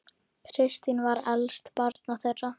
Kristín var elst barna þeirra.